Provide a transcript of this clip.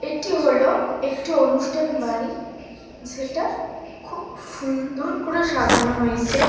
এটি হলো একটি অনুষ্ঠান বাড়ি যেটা খুব সুন্দর করে সাজানো হয়েছে।